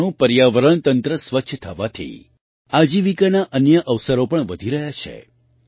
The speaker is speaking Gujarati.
ગંગાનું પર્યાવરણ તંત્ર સ્વચ્છ થવાથી આજીવિકાના અન્ય અવસરો પણ વધી રહ્યા છે